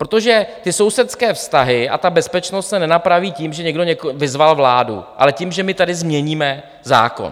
Protože ty sousedské vztahy a ta bezpečnost se nenapraví tím, že někdo vyzval vládu, ale tím, že my tady změníme zákon.